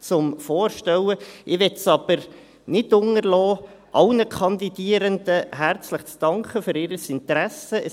Ich möchte es aber nicht unterlassen, allen Kandidierenden herzlich für ihr Interesse zu danken.